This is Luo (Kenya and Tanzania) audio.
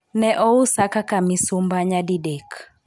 Ne ousa kaka misumba nyadidek